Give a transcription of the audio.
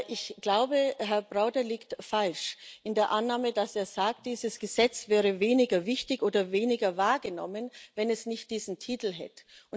Ich glaube, Herr Preda liegt falsch in der Annahme, dass er sagt, dieses Gesetz wäre weniger wichtig oder würde weniger wahrgenommen, wenn es nicht diesen Titel hätte.